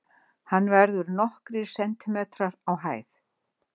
Hann verður nokkrir sentimetrar á hæð.